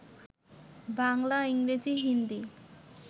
বাংলা, ইংরেজি, হিন্দি